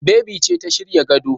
Bebi ce ta shirya gado.